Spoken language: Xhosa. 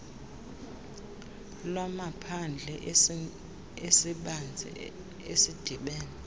lwamaphandle esibanzi esidibene